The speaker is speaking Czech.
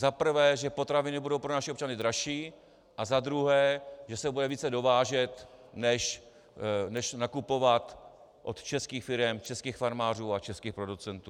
Za prvé, že potraviny budou pro naše občany dražší, a za druhé, že se bude více dovážet než nakupovat od českých firem, českých farmářů a českých producentů.